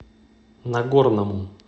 нагорному